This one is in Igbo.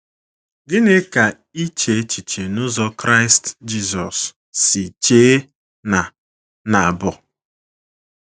Gịnị ka iche echiche n’ụzọ Kraịst Jisọs si chee na - na - bụ?